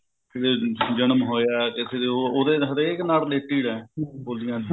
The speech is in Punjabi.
ਕਿਸੇ ਜਨਮ ਹੋਇਆ ਕਿਸੇ ਦੇ ਉਹ ਉਹਦੇ ਹਰੇਕ ਨਾਲ related ਆ ਬੋਲੀਆਂ